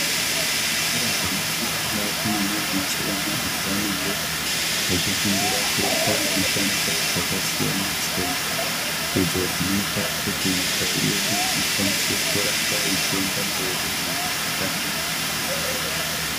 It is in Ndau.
Zvikora zvinofundwa ngeakomana neasikana apo vanenge vachifundira kuita mishando dzakasiyana-siyana. Idzo dzinoita kuti nyika yedu ikwanise kuramba ichienda mberi mune zvakanaka.